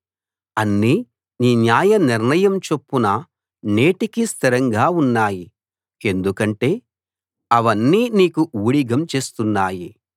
అన్నీ నీ న్యాయ నిర్ణయం చొప్పున నేటికీ స్థిరంగా ఉన్నాయి ఎందుకంటే అవన్నీ నీకు ఊడిగం చేస్తున్నాయి